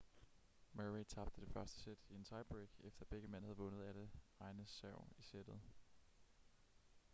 murray tabte det første sæt i en tiebreak efter at begge mænd havde vundet alle egne serv i sættet